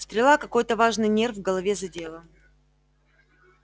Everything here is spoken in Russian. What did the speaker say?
стрела какой-то важный нерв в голове задела